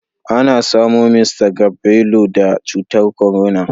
Ana samo Mista Gabrelu da cutar korona